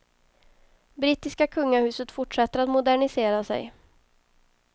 Brittiska kungahuset fortsätter att modernisera sig.